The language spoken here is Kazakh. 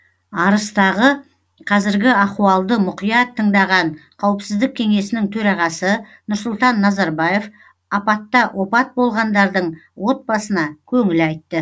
арыстағы қазіргі ахуалды мұқият тыңдаған қауіпсіздік кеңесінің төрағасы нұрсұлтан назарбаев апатта опат болғандардың отбасына көңіл айтты